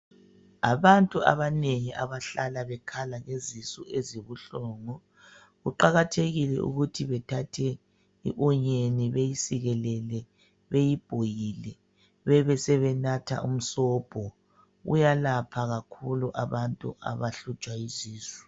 Abantu abanengi abahlala bekhala ngezisu ezibuhlungu, kuqakathekile ukuthi bethathe i onyeni, beyisikelele, beyibhoyile, bebesebenatha umsobho. Uyalapha kakhulu abantu abahlutshwa yisisu